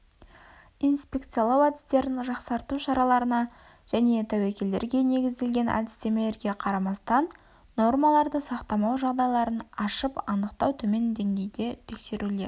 инспекциялау әдістерін жақсарту шараларына және тәуекелдерге негізделген әдістемелерге қарамастан нормаларды сақтамау жағдайларын ашып-анықтау төмен деңгейде тексерулер